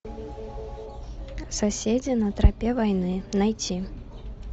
соседи на тропе войны найти